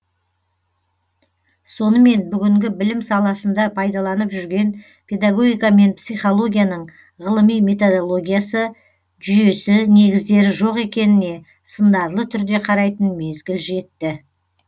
сонымен бүгінгі білім саласында пайдаланып жүрген педагогика мен психологияның ғылыми методологиясы жүйесі негіздері жоқ екеніне сындарлы түрде қарайтын мезгіл жетті